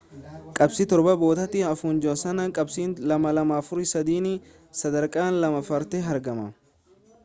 qabxii torba boodatti hafuun joonsan qabxii 2,243n sadarkaa lammaffaarratti argama